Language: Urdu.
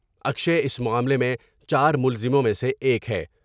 اکشے اس معاملے میں چار ملزموں میں سے ایک ہے ۔